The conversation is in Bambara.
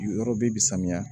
Yɔrɔ bɛ bi samiya